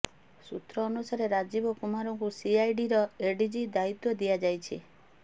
ସୂତ୍ର ଅନୁସାରେ ରାଜୀବ କୁମାରଙ୍କୁ ସିଆଇଡିର ଏଡିଜି ଦାୟିତ୍ୱ ଦିଆଯାଇଛି